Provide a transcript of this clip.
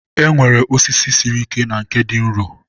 e nwere osisi siri ike na nke dị nro.